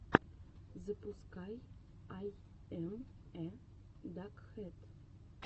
запускай ай эм э дакхэд